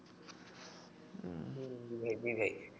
জ্বি ভাই